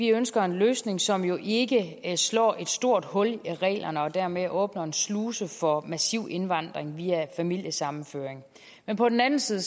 ønsker en løsning som jo ikke slår et stort hul i reglerne og dermed åbner en sluse for massiv indvandring via familiesammenføring men på den anden side